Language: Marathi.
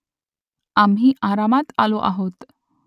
आम्ही आरामात आलो आहोत